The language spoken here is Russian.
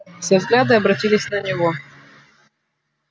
все взгляды обратились на него